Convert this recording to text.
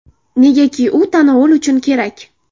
Negaki u tanovul uchun kerak.